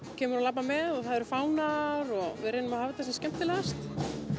kemur og labbar með og það eru fánar og við reynum að hafa þetta sem skemmtilegast